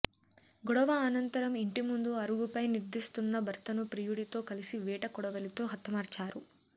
గొడవ అనంతరం ఇంటి ముందు అరుగుపై నిర్ద్రిస్తున్న భర్తను ప్రియుడితో కలిసి వేట కొడవలితో హతమార్చారు